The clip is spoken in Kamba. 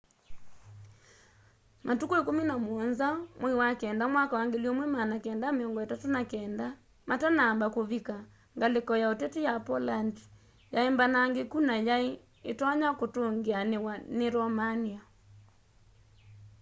matuku 17 mwai wa kenda mwaka wa 1939 matanamba kuvika ngaliko ya ũteti ya poland yaimbanangikũ na yai itonya kũtungianiwa ni romania